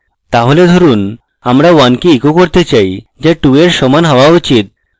তাহলে ধরুন আমরা 1 কে echo করতে চাই so 2 এর সমান হওয়া উচিত